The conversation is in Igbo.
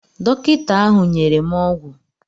Dọkịta ahụ nyere m ọgwụ